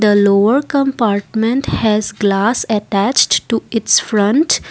the lower compartment has glass attached to it's front.